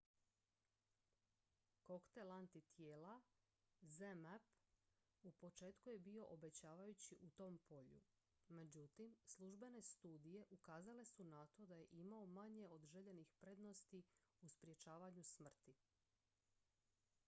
koktel antitijela zmapp u početku je bio obećavajući u tom polju međutim službene studije ukazale su na to da je imao manje od željenih prednosti u sprječavanju smrti